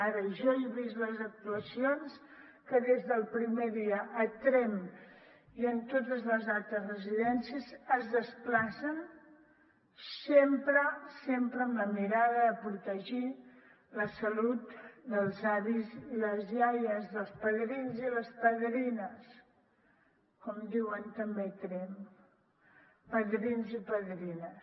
ara jo he vist les actuacions que des del primer dia a tremp i en totes les altres residències es desplacen sempre sempre amb la mirada de protegir la salut dels avis i les iaies dels padrins i padrines com diuen també a tremp padrins i padrines